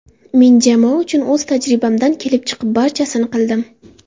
Men jamoa uchun o‘z tajribamdan kelib chiqib barchasini qildim.